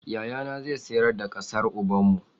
Yayana zai sayar da ƙasar ubanmu.